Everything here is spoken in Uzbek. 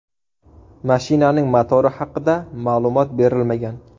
Mashinaning motori haqida ma’lumot berilmagan.